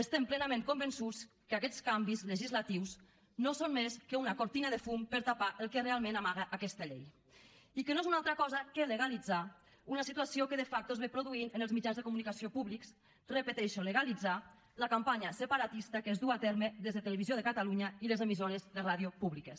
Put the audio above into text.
estem plenament convençuts que aquests canvis legislatius no són més que una cortina de fum per tapar el que realment amaga aquesta llei i que no és una altra cosa que legalitzar una situació que de facto s’ha produït en els mitjans de comunicació públics ho repeteixo legalitzar la campanya separatista que es duu a terme des de televisió de catalunya i les emissores de ràdio públiques